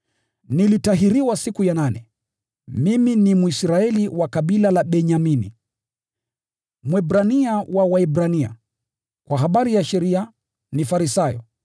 Nilitahiriwa siku ya nane, mimi ni Mwisraeli wa kabila la Benyamini, Mwebrania wa Waebrania. Kwa habari ya sheria, ni Farisayo,